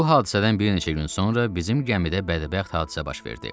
Bu hadisədən bir neçə gün sonra bizim gəmidə bədbəxt hadisə baş verdi.